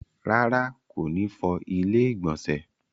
Rárá, kò ní fọ ilẹ́ ìgbọ̀nsẹ̀